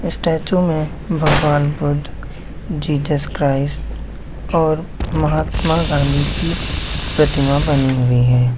Statue में भगवान् Buddha Jesus Christ और महात्मा गाँधी की प्रतिमा बनी हुई है।